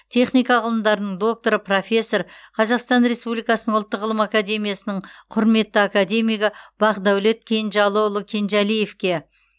техника ғылымдарының докторы профессор қазақстан республикасының ұлттық ғылым академиясының құрметті академигі бақдәулет кенжалыұлы кенжалиевке